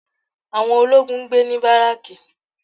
Àwọn ológun ń gbé ní baraki